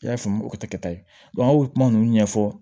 I y'a faamu o tɛ kɛ ta ye an bɛ kuma ninnu ɲɛfɔ